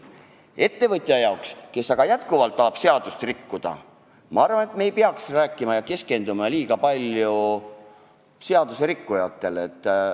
Seda küll mitte ettevõtja jaoks, kes tahab seadust rikkuda, aga ma arvan, et me ei peaks liiga palju keskenduma seaduserikkujatele.